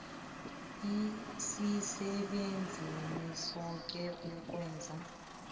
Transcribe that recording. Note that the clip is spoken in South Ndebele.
asisebenzeni soke ukwenza